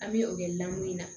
An bɛ o kɛ lamu in na